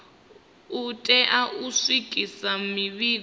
u tea u swikisa mivhigo